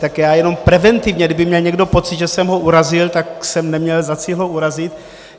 Tak já jenom preventivně, kdyby měl někdo pocit, že jsem ho urazil, tak jsem neměl za cíl ho urazit.